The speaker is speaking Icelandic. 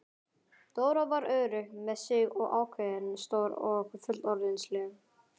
Dóra var örugg með sig og ákveðin, stór og fullorðinsleg.